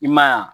I ma ye wa